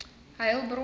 heilbron